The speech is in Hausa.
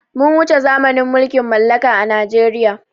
Mun wuce zamanin mulkin mallaka a najeriya